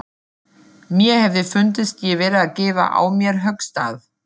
Mér hefði fundist ég vera að gefa á mér höggstað.